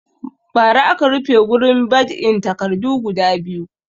Ba ra aka rufe gurin bad'in takarda guda biyu